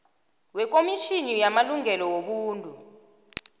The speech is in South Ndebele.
wekomitjhini yamalungelo wobuntu